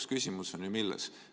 Aga küsimus on lõpuks ju milles?